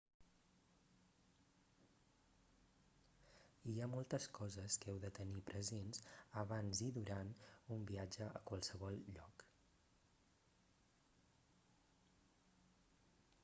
hi ha moltes coses que heu de tenir presents abans i durant un viatge a qualsevol lloc